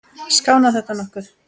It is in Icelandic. Skánar þetta nokkuð?